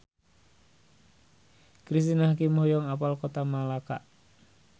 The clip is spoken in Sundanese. Cristine Hakim hoyong apal Kota Melaka